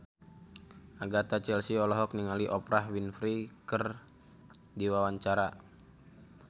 Agatha Chelsea olohok ningali Oprah Winfrey keur diwawancara